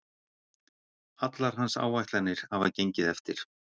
Allar hans áætlanir hafa gengið eftir